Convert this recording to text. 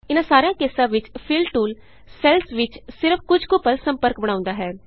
ਇਹਨਾਂ ਸਾਰਿਆਂ ਕੇਸਾਂ ਵਿਚ ਫਿਲ ਟੂਲ ਸੈੱਲਸ ਵਿਚ ਸਿਰਫ ਕੁਝ ਕੁ ਪਲ ਸੰਪਰਕ ਬਣਾਉਦਾ ਹੈ